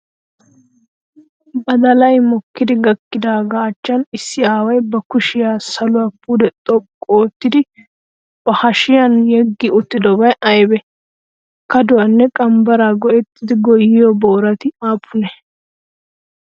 Badday mokkidi gakkidaagaa achchan issi aaway ba kushiya saluwa pude xoqqu oottidi ba hashiyaan yeggi uttiddobay aybee? Kadduwaanne qambbaraa go'ettidi gooyiyo boorati aapunee?